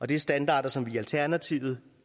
det er standarder som vi i alternativet